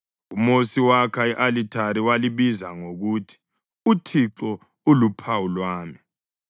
UMosi wakha i-alithari walibiza ngokuthi uThixo uLuphawu Lwami.